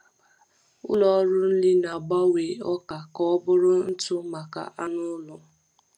Ụlọ ọrụ nri na-agbanwe ọka ka ọ bụrụ ntụ maka anụ ụlọ.